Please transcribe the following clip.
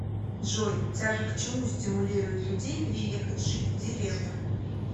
джой тяга к чему стимулирует людей переехать жить в деревню